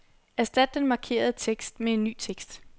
Erstat den markerede tekst med ny tekst.